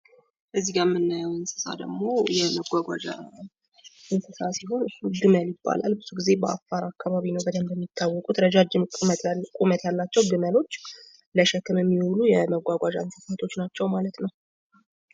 እዚጋ የምናየው እንስሳ ደግሞ የመጓጓዣ እንስሳ ሲሆን ግመል ይባላል። ብዙ ጊዜ በአፋር አካባቢ ነው በደንብ የሚታወቁት ረጃጅም ቁመት ያላቸው ግመሎች ለሸክም የሚውሉ የመጓጓዣ አገልግሎቶች ናቸው ማለት ነው።